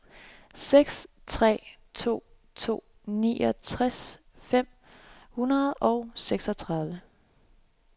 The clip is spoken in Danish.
seks tre to to niogtres fem hundrede og seksogtredive